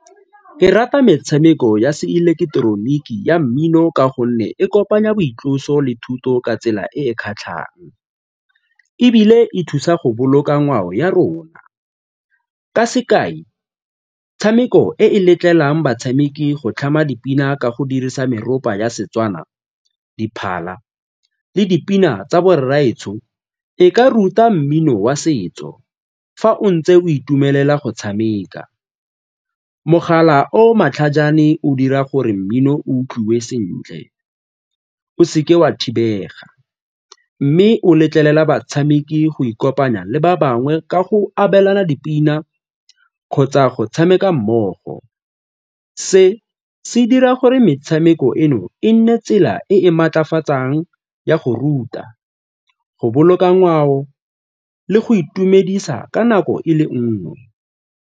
Ke rata metshameko ya seileketeroniki ya mmino ka gonne e kopanya boitloso le thuto ka tsela e e kgatlhang ebile e thusa go boloka ngwao ya rona. Ka sekai, metshameko e e letlelang batshameki go tlhama dipina ka go dirisa meropa ya Setswana, diphala le dipina tsa borraetsho e ka ruta mmino wa setso fa o ntse o itumelela go tshameka. Mogala o o matlhajane fa o dira gore mmino utlwiwe sentle o seke wa thibega mme o letlelela batshameki go ikopanya le ba bangwe ka go abelana dipina kgotsa go tshameka mmogo. Se se dira gore metshameko eno e nne tsela e e maatlafatsang ya go ruta, go boloka ngwao le go itumedisa ka nako e le nngwe.